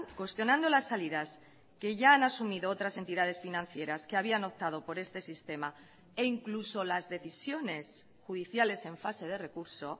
cuestionando las salidas que ya han asumido otras entidades financieras que habían optado por este sistema e incluso las decisiones judiciales en fase de recurso